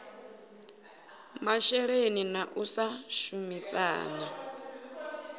masheleni na u sa shumisana